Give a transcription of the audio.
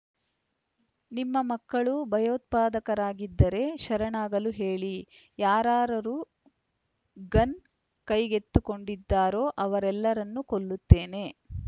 ನಿಮ್ಮ ಮಕ್ಕಳು ಭಯೋತ್ಪಾದಕರಾಗಿದ್ದರೆ ಶರಣಾಗಲು ಹೇಳಿ ಯಾರಾರ‍ಯರು ಗನ್‌ ಕೈಗೆತ್ತಿಕೊಂಡಿದ್ದಾರೋ ಅವರನ್ನೆಲ್ಲ ಕೊಲ್ಲುತ್ತೇವೆ